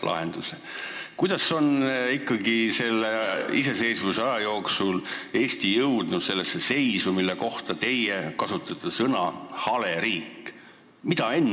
Ma küsin teilt, kuidas on ikkagi iseseisvusaja jooksul Eesti jõudnud sellesse seisu, mille kohta teie kasutate väljendit "hale riik"?